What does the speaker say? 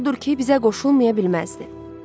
Odur ki, bizə qoşulmaya bilməzdi.